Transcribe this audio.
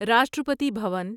Rashtrapati Bhavan